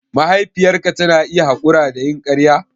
Mahaifiyarka tana iya haƙura da yin ƙarya?